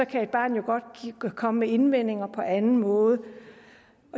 kan et barn jo godt komme med indvendinger på anden måde